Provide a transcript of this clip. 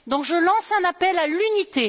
Donc je lance un appel à l'unité.